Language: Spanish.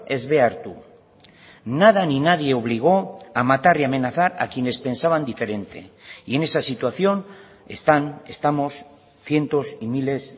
ez behartu nada ni nadie obligó a matar y amenazar a quienes pensaban diferente y en esa situación están estamos cientos y miles